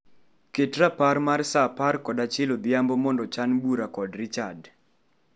Ket rapar mar saa apar kod achiel odhiambo mondo chan bura kod Richard